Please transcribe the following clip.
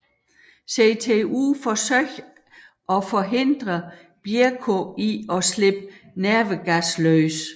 CTU forsøger at forhindre Bierko i at slippe nervegassen løs